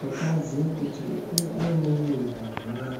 Mukadzi kuti aine mimba zviya